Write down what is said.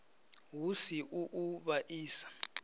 hu si u u vhaisa